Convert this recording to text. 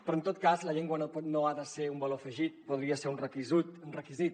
però en tot cas la llengua no ha de ser un valor afegit podria ser un requisit